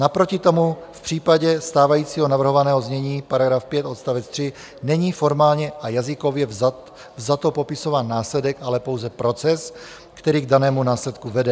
Naproti tomu v případě stávajícího navrhovaného znění § 5 odst. 3 není formálně a jazykově vzato popisován následek, ale pouze proces, který k danému následku vede.